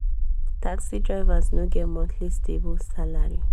taxi drivers no get monthly stable salary.